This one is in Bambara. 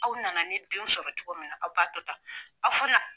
Aw nana ne denw sɔrɔ cogo min na aw b'a to tan aw fana